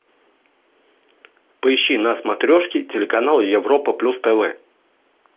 поищи на смотрешке телеканал европа плюс тв